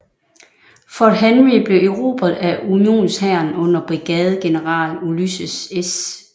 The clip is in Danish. Fort Henry blev erobret af unionshæren under brigadegeneral Ulysses S